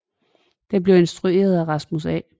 Den blev instrueret af Rasmus A